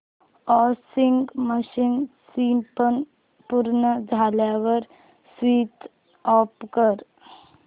washing machine spin पूर्ण झाल्यावर switch off कर